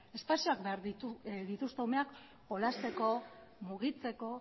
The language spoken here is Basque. espazioak behar dituzte umeak jolasteko mugitzeko